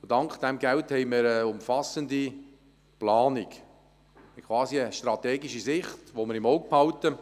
Dank diesem Geld haben wir eine umfassende Planung, quasi eine strategische Sicht, die wir im Auge behalten.